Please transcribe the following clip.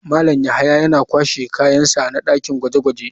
Malam yahya yana kashe kayan sa na dakin gwaje-gwaje.